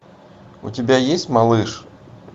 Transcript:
у тебя есть малыш